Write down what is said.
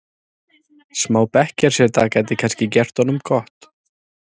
Smá bekkjarseta gæti kannski gert honum gott?